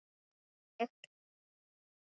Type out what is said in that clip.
Þetta var ég.